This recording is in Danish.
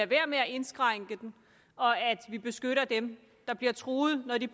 være med at indskrænke den og at vi beskytter dem der bliver truet når de